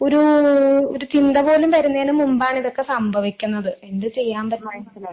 ഒരു, ഒരു ചിന്ത പോലും വരുന്നേന് മുമ്പാണ് ഇതൊക്കെ സംഭവിക്കുന്നത് എന്ത് ചെയ്യാൻ